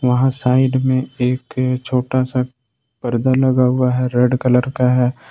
वहां साइड में एक छोटा सा पर्दा लगा हुआ है रेड कलर का है।